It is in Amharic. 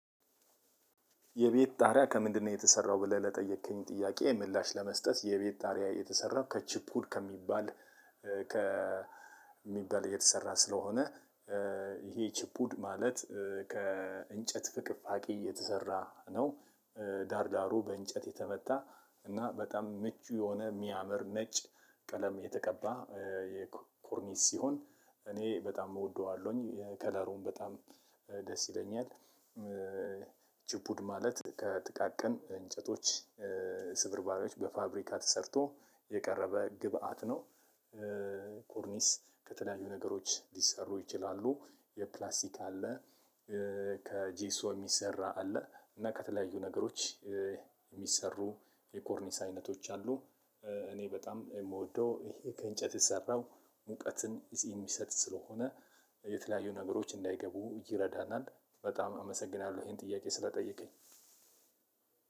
የቤት ጣሪያ ከምንድነው የተሰራው ብለህ ለጠየከኝ ጥያቄ ምላሽ ለመስጠት የቤት ጣሪያ የተሰራው ከችፑድ ከሚባል ከ ሚባል የተሰራ ስለሆነ ይሄ ችፑድ ማለት ከእንጨት ፍቅፋቂ የተሰራ ነው። ዳር ዳሩ በእንጨት የተመታ እና በጣም ምቹ የሆነ የሚያምር ነጭ ቀለም የተቀባ የኮርኒስ ሲሆን እኔ በጣም እወደዋለሁኝ ከለሩም በጣም ደስ ይለኛል። ችፑድ ማለት ከጥቃቅን እንጨቶች ስብርባሪዎች በፋብሪካ ተሰርቶ የቀረበ ግብአት ነው። ቆርኒስ ከተለያዩ ነገሮች ሊሰሩ ይችላሉ የፕላስቲክ አለ። ከጄሶ የሚሰራ አለ። እና ከተለያዩ ነገሮች የሚሰሩ የኮርኒስ አይነቶች አሉ። እኔ በጣም የምወደው ይሄ ከእንጨት የተሰራው ሙቀትን የሚሰጥ ስለሆነ የተለያዩ ነገሮች እንዳይገቡ ይረዳናል። በጣም አመሰግናለሁ ይሄን ጥያቄ ስለጠየቀኝ